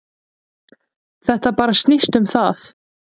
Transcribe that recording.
Þetta bara snýst um það.